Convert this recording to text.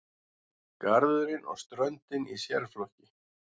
Garðurinn og ströndin í sérflokki.